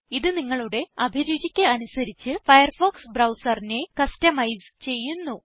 ഇത് നിങ്ങുടെ അഭിരുചിയ്ക്ക് അനുസരിച്ച് ഫയർഫോക്സ് ബ്രൌസറിനെ കസ്റ്റമൈസ് ചെയ്യുന്നു